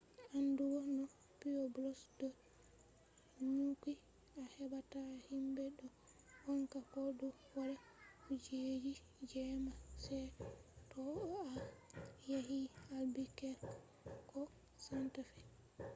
andugo no pueblos do nyukki a hebata himbe do wanca ko do wada kujeji jemma se to a yahi albuquerque ko santa fe